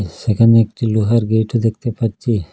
সেখানে একটি লোহার গেটও দেখতে পাচ্ছি।